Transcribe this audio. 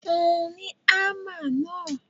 Fún un ní ámà náà.!